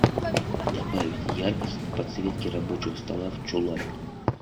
добавить яркость на подсветке рабочего стола в чулане